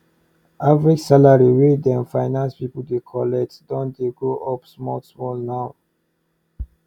average salary wey dem finance pipu dey collect don dey go up small small now